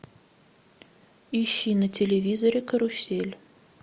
ищи на телевизоре карусель